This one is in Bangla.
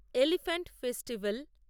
elephant festival